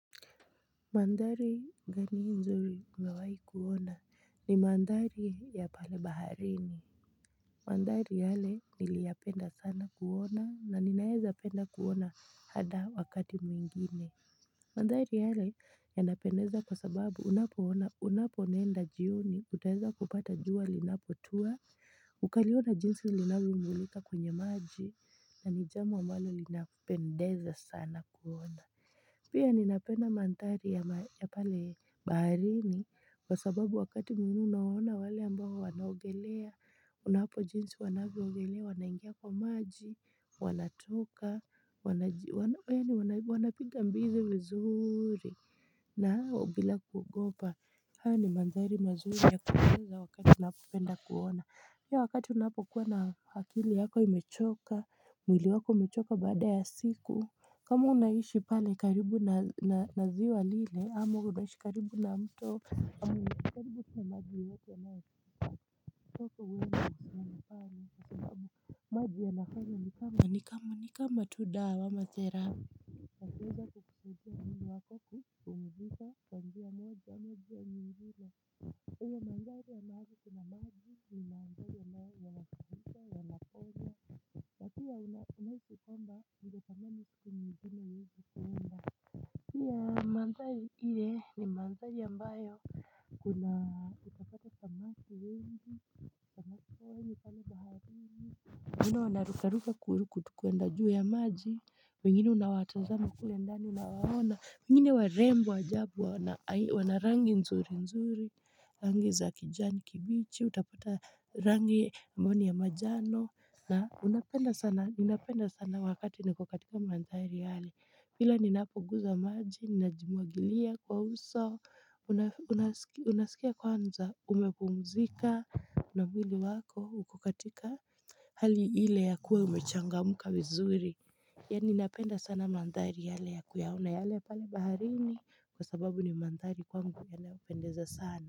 Mandhari gani nzuri umewahi kuona ni mandhari ya pale baharini. Mandhari hale niliyapenda sana kuona na ninaeza penda kuona hada wakati mwingine. Mandhari hale yanapendeza kwa sababu unapoona unapo nenda jioni utaeza kupata jua linapotua. Ukaliona jinsi linavyo mulika kwenye maji na nijambo ambalo linapendeza sana kuona. Pia ninapenda mandhari ya pale baharini Kwa sababu wakati mwingi unawaona wale ambao wanaogelea Unapo jinsi wanavyogelea wanaingia kwa maji Wanatoka Wani wanapinga mbizi vizuri na hao bila kuogopa haya ni mandhari mazuri ya kuweza wakati unapenda kuona pia wakati unapo kuwa na akili yako imechoka mwili wako umechoka baada ya siku kama unaishi pale karibu na ziwa lile, ama unaishi karibu na mto maji ya nafanya ni kama ni kama tu da wa amatherap ya kuweza kukukusaidia mwili wako ku, kupumzika, kwa njia moja, moja nyingine hivo mandhari ambayo kuna maji, nimandhari ambayo yanaponya pia unahishi kwamba, ninge tamani siku nzima iwezi kuenda pia mandhari ile ni mandhari ambayo kuna utapata sa maki wengi kwa hini kani baharini wengine wanarukaruka kutukuenda juu ya maji wengine unawatazama kule ndani unawaona wengine warembo wa ajabu wana rangi nzuri nzuri, rangi za kijani kibichi, utapata rangi ambayo ni ya majano na unapenda sana ninapenda sana wakati ni kokatika mandhari yale kila ninapoguza maji ninajimuagilia kwa uso unasikia kwanza umepumzika namwili wako ukokatika hali ile ya kuwa imechanga mka wizuri Yaani napenda sana mandhari yale ya kuyaona yale pale baharini kwa sababu ni mandhari kwangu ya nayopendeza sana.